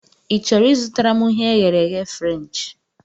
Ị chọrọ I zụtara m ihe e ghere eghe Frenchị?